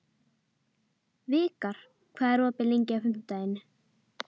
Vikar, hvað er opið lengi á fimmtudaginn?